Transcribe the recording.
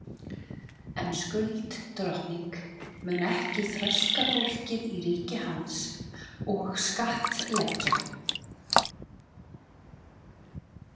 En Skuld drottning mun ekki þrælka fólkið í ríki hans og skattleggja.